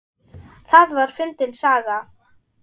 Það var fyndin saga.